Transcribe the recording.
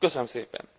Köszönöm szépen!